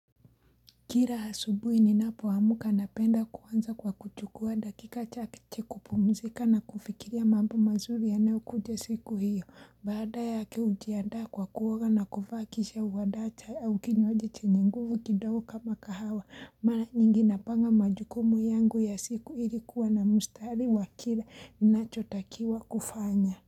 Kila asubui ninapoamka napenda kuanza kwa kuchukua dakika chache kupumzika na kufikiria mambo mazuri yanayo kuja siku hiyo. Baada yake hujiandaa kwa kuoga na kuvaa kisha huandaa kinywaji chenye nguvu kidogo kama kahawa. Mara nyingi napanga majukumu yangu ya siku ili kuwa na mstari wa kila ninachotakiwa kufanya.